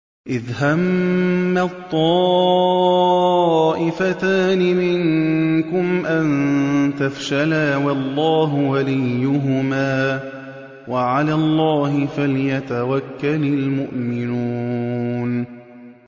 إِذْ هَمَّت طَّائِفَتَانِ مِنكُمْ أَن تَفْشَلَا وَاللَّهُ وَلِيُّهُمَا ۗ وَعَلَى اللَّهِ فَلْيَتَوَكَّلِ الْمُؤْمِنُونَ